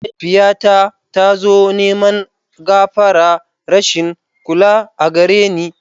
Mahaifiyyata tazo neman gafara rashin kula agareni